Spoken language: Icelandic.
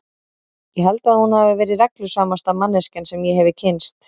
Ég held að hún hafi verið reglusamasta manneskjan sem ég hefi kynnst.